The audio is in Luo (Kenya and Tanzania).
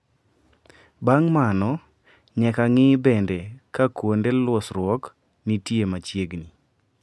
Bang` mano nyaka ng`I bende ka kuonde losruok nitie machiegni.